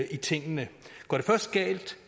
i tingene går det først galt